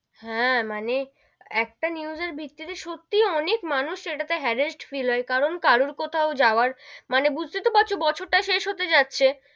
হাঁ, মানে একটা news এর ভিত্তি তে সত্যি অনেক মানুষ ইটা তে harrest feel হয়, কারণ কারুর কোথাও যাওয়ার মানে বুঝতে তো পারছো বছর তা শেষ হত যাচ্ছে,